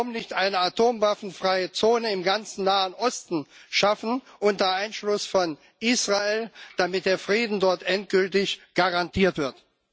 Warum nicht eine atomwaffenfreie Zone im ganzen Nahen Osten schaffen, unter Einschluss von Israel, damit der Frieden dort endgültig garantiert wird?